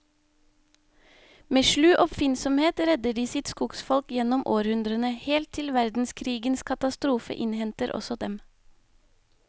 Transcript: Med slu oppfinnsomhet redder de sitt skogsfolk gjennom århundrene, helt til verdenskrigens katastrofe innhenter også dem.